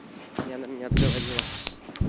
не она меня отговорила